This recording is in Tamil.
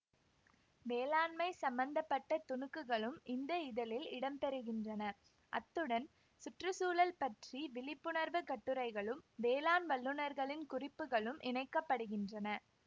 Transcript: வேளாண்மை சம்மந்த பட்ட துணுக்குகளும் இந்த இதழில் இடம் பெருகின்றன அத்துடன் சுற்று சூழல் பற்றி விழிப்புணர்வு கட்டுரைகளும் வேளாண் வல்லுனர்களின் குறிப்புகளும் இணைக்க படுகின்றன